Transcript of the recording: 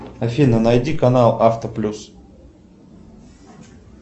афина найди канал авто плюс